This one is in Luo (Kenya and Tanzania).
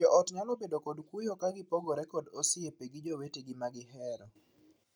Joot nyalo bedo kod kuyo ka gipogore kod osiepe gi jowetegi ma gihero.